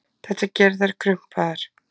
Þetta gerir þær krumpaðar.